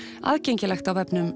aðgengilegt á vefnum